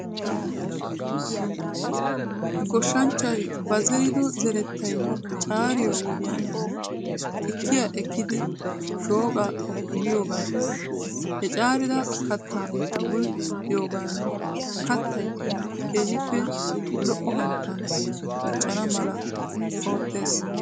Goshshanchchay ba zerido zerettay caariyo wodiyan xikkiyaa ekkidi shooqaa biyoogan he caarida kattaa bul"iyoogan kattay keehippe lo"o hanotan diccana mala oottes.